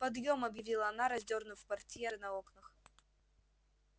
подъем объявила она раздёрнув портьеры на окнах